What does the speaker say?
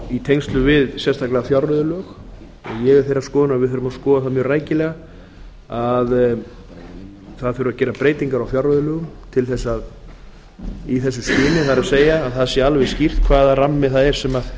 í tengslum við sérstaklega fjárreiðulög ég er þeirrar skoðunar að við þurfum að skoða það mjög rækilega að gera þurfi breytingar á fjárreiðulögum í þessu skyni það er til að það sé alveg skýrt hvaða rammi það er sem